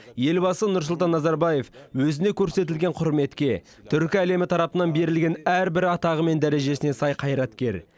елбасы нұрсұлтан назарбаев өзіне көрсетілген құрметке түркі әлемі тарапынан берілген әрбір атағы мен дәрежесіне сай қайраткер